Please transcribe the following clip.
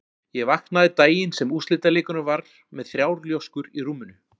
Ég vaknaði daginn sem úrslitaleikurinn var með þrjár ljóskur í rúminu.